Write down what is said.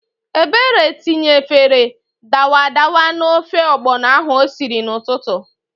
Ebere tinyefere dawadawa n'ofe ọgbọnọ ahụ o siri n'ụtụtụ.